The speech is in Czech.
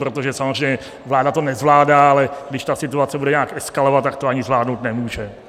Protože samozřejmě vláda to nezvládá, ale když ta situace bude nějak eskalovat, tak to ani zvládnout nemůže.